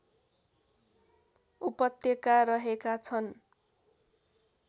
उपत्यका रहेका छन्